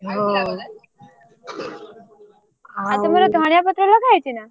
ହଁ ଆଉ ଆଉ ତମର ଧଣିଆ ପତ୍ର ଲଗାହେଇଛିନା।